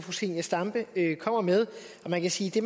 præcis det